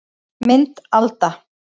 Mynd Alda